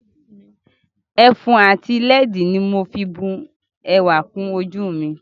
Ẹfun ati lẹ́ẹ̀dì ni mo fi bu ẹwà kùn ojú mi